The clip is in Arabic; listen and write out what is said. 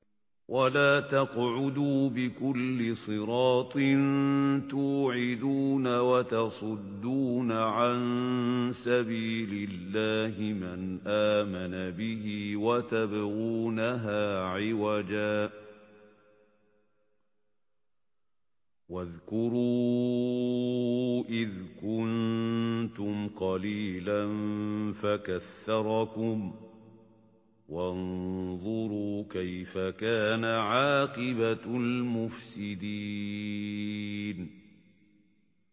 وَلَا تَقْعُدُوا بِكُلِّ صِرَاطٍ تُوعِدُونَ وَتَصُدُّونَ عَن سَبِيلِ اللَّهِ مَنْ آمَنَ بِهِ وَتَبْغُونَهَا عِوَجًا ۚ وَاذْكُرُوا إِذْ كُنتُمْ قَلِيلًا فَكَثَّرَكُمْ ۖ وَانظُرُوا كَيْفَ كَانَ عَاقِبَةُ الْمُفْسِدِينَ